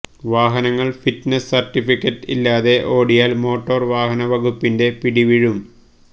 വാഹനങ്ങൾ fitness certificate ഇല്ലാെത ഒാടിയാൽ മോട്ടോർ വാഹന വകുപ്പിന്റെ പിടി വീഴും